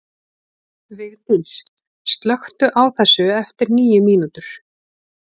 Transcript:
Vigdís, slökktu á þessu eftir níu mínútur.